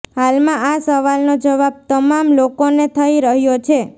હાલમાં આ સવાલનો જવાબ તમામ લોકોને થઇ રહ્યો છે